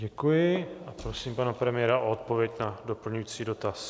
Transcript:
Děkuji a prosím pana premiéra o odpověď na doplňující dotaz.